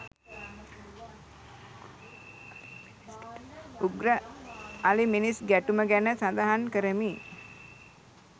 උග්‍ර අලිමිනිස් ගැටුම ගැන සඳහන් කරමි